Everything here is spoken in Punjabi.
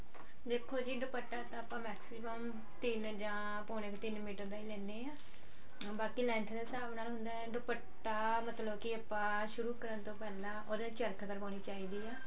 ਦੇਖੋ ਜੀ ਦੁਪੱਟਾ ਤਾਂ ਆਪਾਂ maximum ਤਿੰਨ ਜਾਨ ਪੋਣੇ ਕ ਤਿੰਨ ਮੀਟਰ ਦਾ ਲੈਣੇ ਆਂ ਬਾਕੀ length ਦੇ ਹਿਸਾਬ ਨਾਲ ਹੁੰਦਾ ਦੁਪੱਟਾ ਮਤਲਬ ਕਿ ਆਪਾਂ ਸ਼ੂਰੁ ਕਰਦੋ ਪਹਿਲਾਂ ਉਹਦੇ ਚਰਖ ਕਰਵਾਉਣੀ ਚਾਹੀਦੀ ਏ